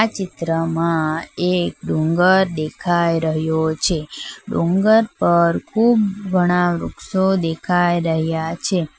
ચિત્રમાં એક ડુંગર દેખાય રહ્યો છે ડુંગર પર ખૂબ ઘણા વૃક્ષો દેખાય રહ્યા છે.